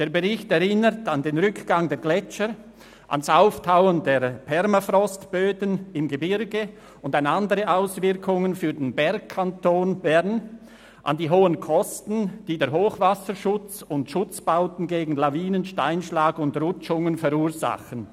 Der Bericht erinnert an den Rückgang der Gletscher, ans Auftauen der Permafrostböden im Gebirge und an andere Auswirkungen auf den Bergkanton Bern, an die hohen Kosten, die der Hochwasserschutz und Schutzbauten gegen Lawinen, Steinschlag und Rutschungen verursachen.